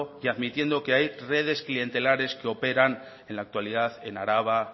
y admitiendo que hay redes clientelares que operan en la actualidad en araba